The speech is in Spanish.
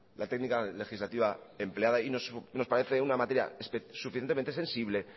la técnica legislativa empleada y nos parece una materia suficientemente sensible